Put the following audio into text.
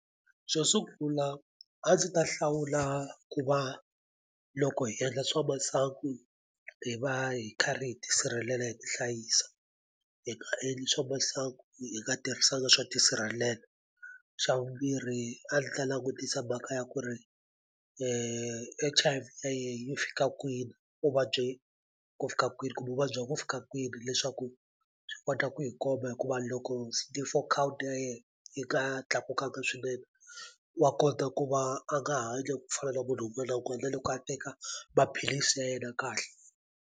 Xo sungula a ndzi ta hlawula ku va loko hi endla swa masangu hi va hi karhi hi tisirhelela hi tihlayisa hi nga endli swa masangu hi nga tirhisanga swa ti sirhalela xa vumbirhi a ni ta langutisa mhaka ya ku ri yi fika kwini u vabye ku fika kwini kumbe u vabya ku fika kwini leswaku swi kota ku hi komba hikuva loko C_D_Four count ya yena yi nga tlakukanga swinene wa kota ku va a nga hanya ku fana na munhu wun'wana wun'wani na loko a teka maphilisi ya yena kahle.